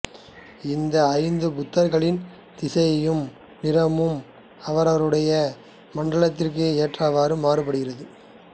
இந்த ஐந்து புத்தர்களின் திசையையும் நிறமும் அவரவர்களுடைய மண்டலத்திற்கு ஏற்றவாறு மாறுபடும்